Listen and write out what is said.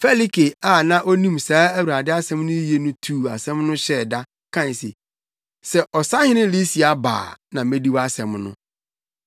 Felike a na onim saa Awurade asɛm no yiye no tuu asɛm no hyɛɛ da, kae se, “Sɛ Ɔsahene Lisia ba a na medi wʼasɛm no.”